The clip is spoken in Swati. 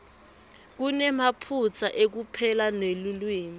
lonemaphutsa ekupela nelulwimi